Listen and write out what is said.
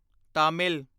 Tamil